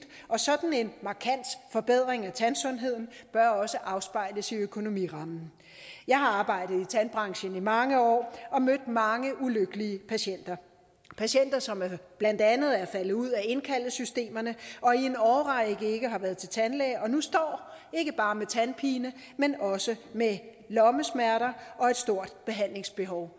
og sådan en markant forbedring af tandsundheden bør også afspejles i økonomirammen jeg har arbejdet i tandbranchen i mange år og mødt mange ulykkelige patienter patienter som blandt andet er faldet ud af indkaldesystemerne og i en årrække ikke har været til tandlæge og nu står ikke bare med tandpine men også med lommesmerter og et stort behandlingsbehov